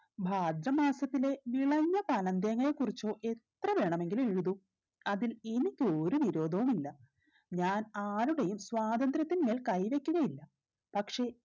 ഭാദ്ര മാസത്തിലെ വിളഞ്ഞ പനം തേങ്ങയെ കുറിച്ചോ എത്ര വേണമെങ്കിലും എഴുതും അതിൽ എനിക്കൊരു വിരോധവും ഇല്ല ഞാൻ ആരുടേയും സ്വാതന്ത്രത്തിന്മേൽ കൈ വെക്കുകയില്ല പക്ഷേ